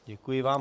Děkuji vám.